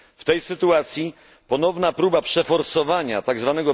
W tej sytuacji ponowna próba przeforsowania tzw.